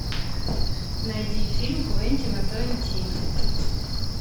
найди фильм квентина тарантино